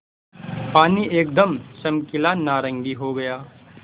पानी एकदम चमकीला नारंगी हो गया